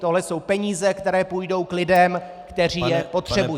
Tohle jsou peníze, které půjdou k lidem, kteří je potřebují.